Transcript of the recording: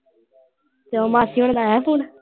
ਤੇ ਉਹ ਮਾਸੀ ਆਉਣਾ ਦਾ ਆਇਆ ਫੋਨ।